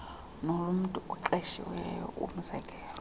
nolomntu oqeshileyo umzekelo